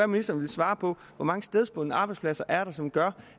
ministeren vil svare på hvor mange stedbundne arbejdspladser det er som gør